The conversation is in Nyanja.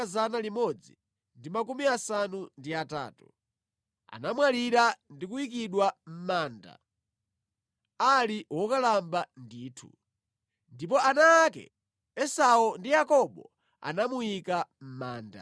Anamwalira ali wokalamba kwambiri ndipo anakakhala ndi anthu a mtundu wake. Ndipo ana ake Esau ndi Yakobo anamuyika mʼmanda.